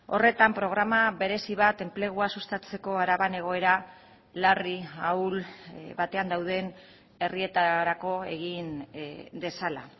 horretan programa berezi bat enplegua sustatzeko araban egoera larri ahul batean dauden herrietarako egin dezala